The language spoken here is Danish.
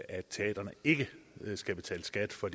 at teatrene ikke skal betale skat for